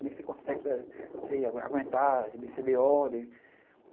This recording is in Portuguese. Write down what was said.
Como é que você consegue aguentar receber ordem?